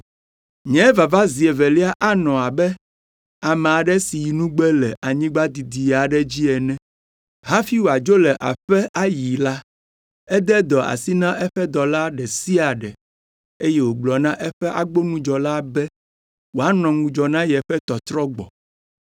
“Nye vava zi evelia anɔ abe ame aɖe si yi nugbe le anyigba didi aɖe dzi ene. Hafi wòadzo le aƒe ayi la, ede dɔ asi na eƒe dɔwɔla ɖe sia ɖe eye wògblɔ na eƒe agbonudzɔla be wòanɔ ŋudzɔ na yeƒe tɔtrɔ gbɔ.”